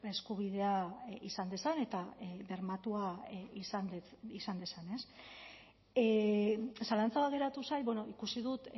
eskubidea izan dezan eta bermatua izan dezan zalantza bat geratu zait ikusi dut